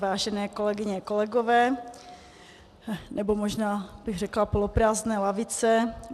Vážené kolegyně, kolegové, nebo možná bych řekla poloprázdné lavice.